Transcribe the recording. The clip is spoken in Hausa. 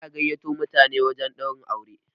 ana gaiyato mutane wajen Ɗaurin aure